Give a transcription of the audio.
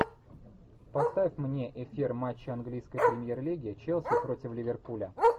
поставь мне эфир матча английской премьер лиги челси против ливерпуля